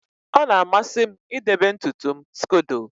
ọ na-amasị m idebe ntutu m scodo